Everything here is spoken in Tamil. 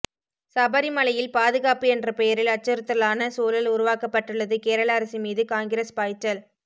சபரிமலையில் பாதுகாப்பு என்ற பெயரில் அச்சுறுத்தலான சூழல் உருவாக்கப்பட்டுள்ளது கேரள அரசு மீது காங்கிரஸ் பாய்ச்சல்